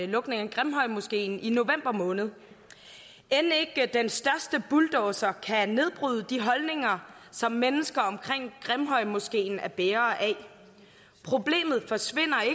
lukningen af grimhøjmoskeen i november måned end ikke den største bulldozer kan nedbryde de holdninger som mennesker omkring grimhøjmoskeen er bærere af problemet forsvinder